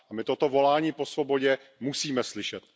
My toto volání po svobodě musíme slyšet.